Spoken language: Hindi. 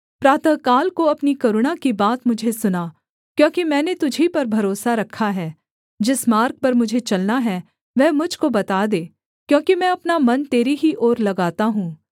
प्रातःकाल को अपनी करुणा की बात मुझे सुना क्योंकि मैंने तुझी पर भरोसा रखा है जिस मार्ग पर मुझे चलना है वह मुझ को बता दे क्योंकि मैं अपना मन तेरी ही ओर लगाता हूँ